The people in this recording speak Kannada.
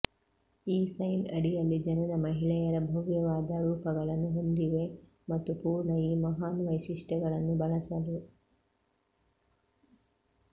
ಈ ಸೈನ್ ಅಡಿಯಲ್ಲಿ ಜನನ ಮಹಿಳೆಯರ ಭವ್ಯವಾದ ರೂಪಗಳನ್ನು ಹೊಂದಿವೆ ಮತ್ತು ಪೂರ್ಣ ಈ ಮಹಾನ್ ವೈಶಿಷ್ಟ್ಯಗಳನ್ನು ಬಳಸಲು